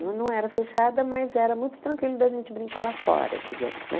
Ela não era fechada, mas era muito tranquilo da gente brincar lá fora, digamos né.